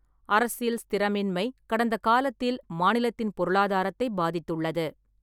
அரசியல் ஸ்திரமின்மை கடந்த காலத்தில் மாநிலத்தின் பொருளாதாரத்தை பாதித்துள்ளது.